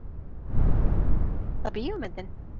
Eitthvað Besta bíómyndin?